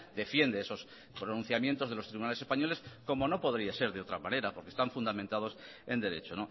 defiende esos pronunciamientos de los tribunales españoles como no podría ser de otra manera porque están fundamentados en derecho